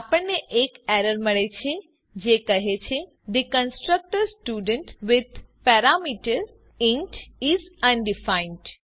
આપણને એક એરર મળે છે જે કહે છે the constructor student with parameter is undefined